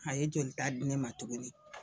A ye jolita di ne ma tuguni